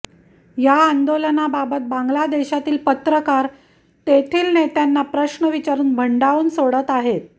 या आंदोलनाबाबत बांगलादेशातील पत्रकार तेथील नेत्यांना प्रश्न विचारून भंडावून सोडत आहेत